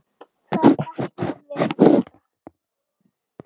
Það ætlum við að gera.